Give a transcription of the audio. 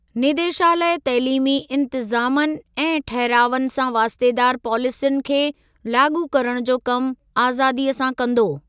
निदेशालय तइलीमी इंतज़ामनि ऐं ठहिरावनि सां वास्तेदार पॉलिसियुनि खे लाॻू करण जो कमु आज़ादीअ सां कंदो।